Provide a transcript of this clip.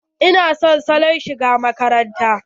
Ina son salon shigar makarantar.